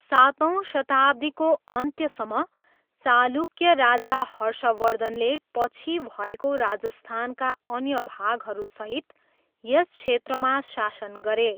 सातौँ शताब्दीको अन्त्यसम्म, चालुक्य राजा हर्षवर्धनले पछि भएको राजस्थानका अन्य भागहरूसहित यस क्षेत्रमा शासन गरे।